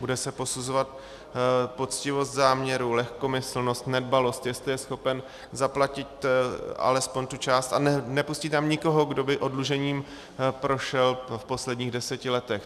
Bude se posuzovat poctivost záměru, lehkomyslnost, nedbalost, jestli je schopen zaplatit alespoň tu část, a nepustí tam nikoho, kdo by oddlužením prošel v posledních deseti letech.